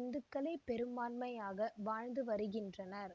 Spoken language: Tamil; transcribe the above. இந்துக்களே பெரும்பான்மையாக வாழ்ந்து வருகின்றனர்